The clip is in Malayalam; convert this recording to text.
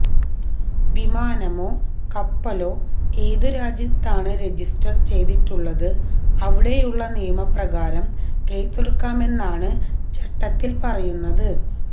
വിമാനമോ കപ്പലോ ഏതു രാജ്യത്താണ് രജിസ്റ്റർ ചെയ്തിട്ടുള്ളത് അവിടെയുള്ള നിയമപ്രകാരം കേസെടുക്കാമെന്നാണ് ചട്ടത്തിൽ പറയുന്നത്